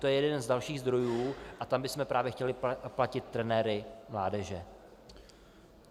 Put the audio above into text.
To je jeden z dalších zdrojů a tam bychom právě chtěli platit trenéry mládeže.